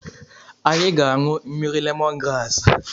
Anyị ga-anụ mmiri lemon graasị.